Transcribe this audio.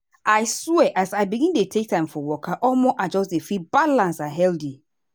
i swear as i begin take time for waka omo i just dey feel balance and healthy.